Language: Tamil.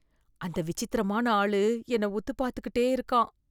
அந்த விசித்திரமான ஆளு என்னை உத்து பாத்துக்கிட்டே இருக்கான்.